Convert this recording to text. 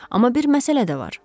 Amma bir məsələ də var.